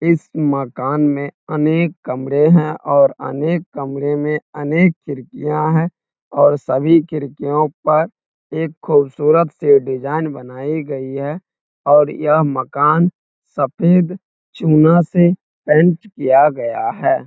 इस मकान में अनेक कमरे हैं और अनेक कमरे में अनेक खिडकियाँ हैं और सभी खिडकियों पर एक खुबसूरत से डिजाईन बनाई गयी है और यह मकान सफ़ेद चुना से पेंट किया गया है।